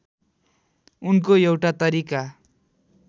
उनको एउटा तरिका